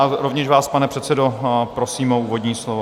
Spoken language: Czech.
A rovněž vás, pane předsedo, prosím o úvodní slovo.